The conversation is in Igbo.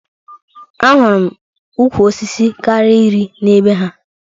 Ahụru m ukwu osisi karịrị iri na be ha